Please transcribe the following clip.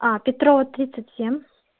петрова тридцать семь